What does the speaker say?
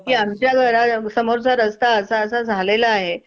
की आमच्या घरासमोरचा रस्ता असा असा झालेला आहे.